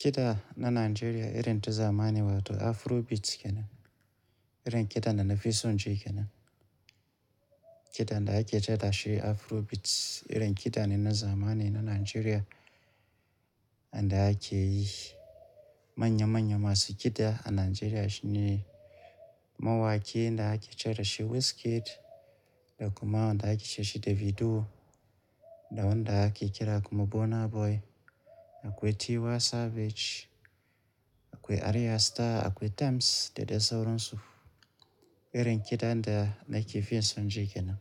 Kiɗa na Najeriya irin ta zamani wato Afrobeats kenan. Irin kiɗa na fison ji kenan. Kiɗa da ake kira shi Afrobeats irin kiɗa ne na zamani na Najeriya. Wanda ake yi. Manya manya masu kiɗa a Najeriya shine mawaki da ake ce dashi Wizkid, da kuma wanda ake ce dashi Davido, da wanda ake kira kuma Burna Boy. Akwai Tiwa Savage, akwai Arya Star, akwai Tems da dai sauransu. Irin kiɗa da nake fiye son ji kenan.